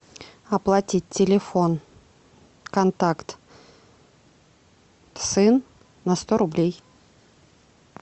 оплатить телефон контакт сын на сто рублей